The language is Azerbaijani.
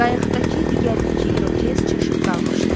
Qayıqdakı digər iki irokez çaşıb qalmışdı.